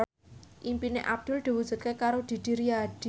impine Abdul diwujudke karo Didi Riyadi